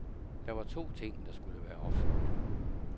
Der var to ting, der skulle være opfyldt.